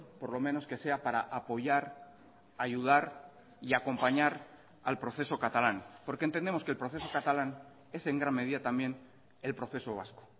por lo menos que sea para apoyar ayudar y acompañar al proceso catalán porque entendemos que el proceso catalán es en gran medida también el proceso vasco